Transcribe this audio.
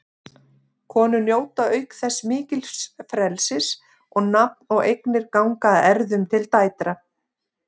Konur njóta auk þess mikils frelsis og nafn og eignir ganga að erfðum til dætra.